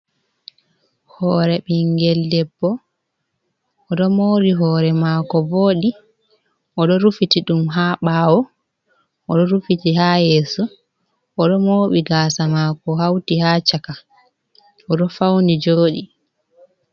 Hore bingel debbo odo mari hore mako vodi, odo rufiti dum ha bawo, odo rufiti ha yeso ,odo mobi gasa mako hauti ha chaka, odo fauni jodi.